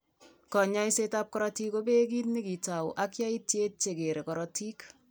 Kanyoisetab kaikset neo ko beote kit nekitou ak yaitietab che kere korotik.